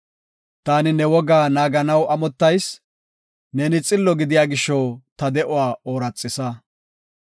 Taani ne wogaa naaganaw amottayis; neeni xillo gidiya gisho, ta de7uwa ooraxisa.